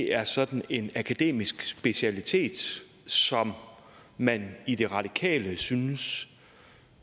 er sådan en akademisk specialitet som man i det radikale venstre synes